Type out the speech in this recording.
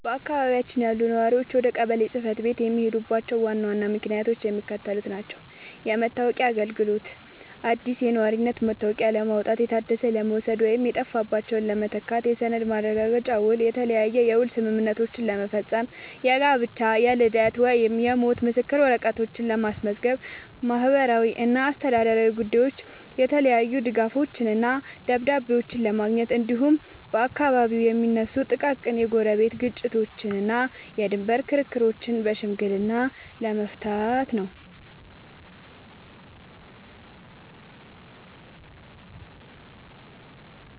በአካባቢያችን ያሉ ነዋሪዎች ወደ ቀበሌ ጽሕፈት ቤት የሚሄዱባቸው ዋና ዋና ምክንያቶች የሚከተሉት ናቸው፦ የመታወቂያ አገልግሎት፦ አዲስ የነዋሪነት መታወቂያ ለማውጣት፣ የታደሰ ለመውሰድ ወይም የጠፋባቸውን ለመተካት። የሰነድ ማረጋገጫና ውል፦ የተለያየ የውል ስምምነቶችን ለመፈረም፣ የጋብቻ፣ የልደት ወይም የሞት ምስክር ወረቀቶችን ለማስመዝገብ። ማህበራዊና አስተዳደራዊ ጉዳዮች፦ የተለያዩ ድጋፎችንና ደብዳቤዎችን ለማግኘት፣ እንዲሁም በአካባቢው የሚነሱ ጥቃቅን የጎረቤት ግጭቶችንና የድንበር ክርክሮችን በሽምግልና ለመፍታት ነው።